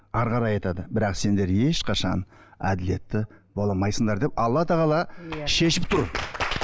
әрі қарай айтады бірақ сендер ешқашан әділетті бола алмайсыңдар деп алла тағала иә шешіп тұр